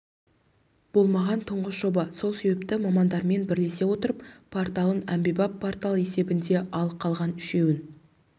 болмаған тұңғыш жоба сол себепті мамандармен бірлесе отырып порталын әмбебап портал есебінде ал қалған үшеуін